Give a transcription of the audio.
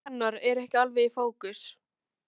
Fegurð hennar er ekki alveg í fókus.